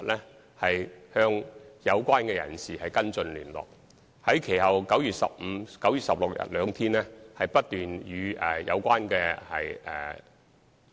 其後，我們的同事在9月15日及16日兩天均不斷與中科公司有關人士聯絡。